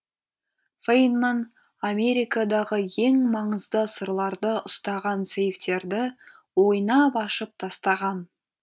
фейнман америкадағы ең маңызды сырларды ұстаған сейфтерді ойнап ашып тастаған